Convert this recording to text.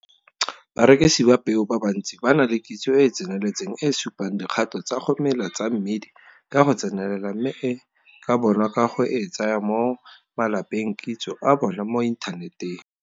Barekisi ba peo ba bantsi ba na le kitso e e tseneletseng e e supang dikgato tsa go mela tsa mmidi ka go tsenelela mme e ka bonwa ka go e tsaya mo malapengkitso a bona mo inthaneteng.